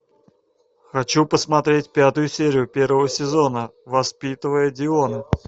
хочу посмотреть пятую серию первого сезона воспитывая диона